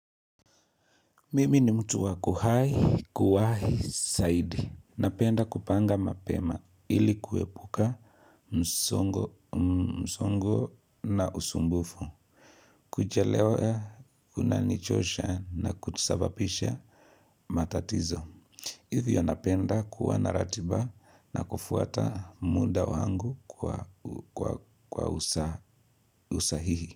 Mimi ni mtu wa kuwai, kuwai, zaidi. Napenda kupanga mapema ili kuepuka msongo na usumbufu. Kuchelewa, unanichosha na kusababisha matatizo. Hivyo napenda kuwa na ratiba na kufuata muda wangu kwa usahihi.